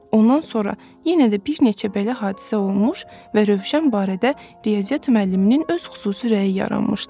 Ondan sonra yenə də bir neçə belə hadisə olmuş və Rövşən barədə riyaziyyat müəlliminin öz xüsusi rəyi yaranmışdı.